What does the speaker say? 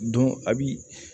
a bi